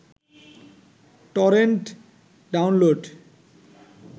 torrent download